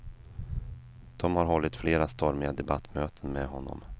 De har hållit flera stormiga debattmöten med honom.